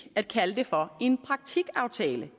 at kalde det for en praktikaftale